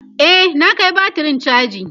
e na Kai batirin chaji